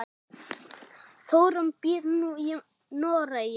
Þórunn býr nú í Noregi.